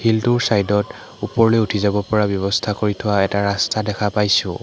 শিলটোৰ ছাইডত ওপৰলৈ উঠি যাব পৰা ব্যৱস্থা কৰি থোৱা এটা ৰাস্তা দেখা পাইছোঁ।